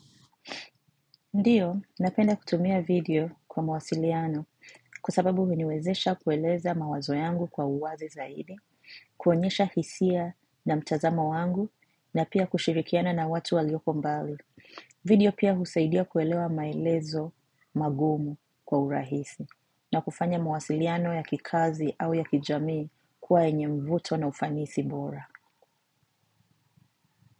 Ndiyo, napenda kutumia video kwa mawasiliano kwa sababu huniwezesha kueleza mawazo yangu kwa uwazi zaidi, kuonyesha hisia na mtazamo wangu na pia kushirikiana na watu walioko mbali. Video pia husaidia kuelewa maelezo magumu kwa urahisi na kufanya mawasiliano ya kikazi au ya kijamii kuwa yenye mvuto na ufanisi bora.